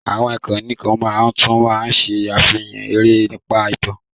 Àwọn ìkànnì kan náà tún máa ń ṣe àfihàn eré nípa ìtàn,